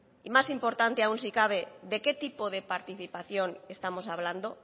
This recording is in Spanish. y más importante aún si cabe de qué tipo de participación estamos hablando